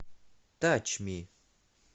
тач ми